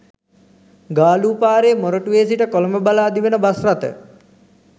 ගාලූ පාරේ මොරටුවේ සිට කොළඹ බලා දිවෙන බස් රථ